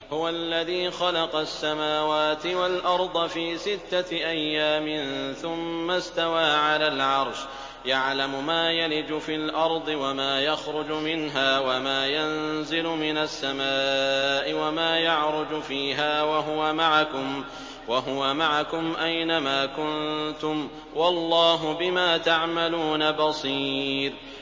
هُوَ الَّذِي خَلَقَ السَّمَاوَاتِ وَالْأَرْضَ فِي سِتَّةِ أَيَّامٍ ثُمَّ اسْتَوَىٰ عَلَى الْعَرْشِ ۚ يَعْلَمُ مَا يَلِجُ فِي الْأَرْضِ وَمَا يَخْرُجُ مِنْهَا وَمَا يَنزِلُ مِنَ السَّمَاءِ وَمَا يَعْرُجُ فِيهَا ۖ وَهُوَ مَعَكُمْ أَيْنَ مَا كُنتُمْ ۚ وَاللَّهُ بِمَا تَعْمَلُونَ بَصِيرٌ